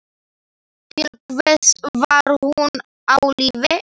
Til hvers var hún á lífi?